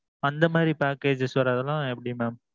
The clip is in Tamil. அந்த மாதிரி packages வர்றதுலாம் எப்பிடி mam?